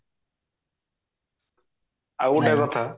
ଆଉ ଗୋଟେ କଥା